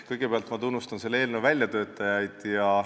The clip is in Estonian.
Kõigepealt ma tunnustan selle eelnõu väljatöötajaid.